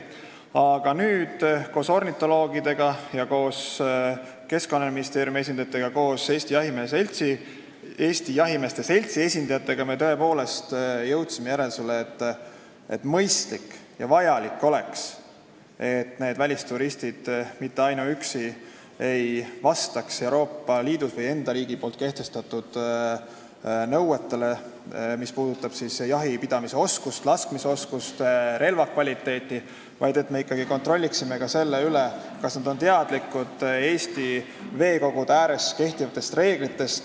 Aga nüüd me jõudsime koos ornitoloogidega, koos Keskkonnaministeeriumi esindajatega ja koos Eesti Jahimeeste Seltsi esindajatega tõepoolest järeldusele, et mõistlik ja vajalik oleks, kui need välisturistid ei vastaks mitte ainuüksi Euroopa Liidus või nende enda riigis kehtestatud nõuetele, mis puudutavad jahipidamise oskust, laskmisoskust, relva kvaliteeti, vaid et me ikkagi kontrolliksime üle ka selle, kas nad on teadlikud Eesti veekogude ääres kehtivatest reeglitest.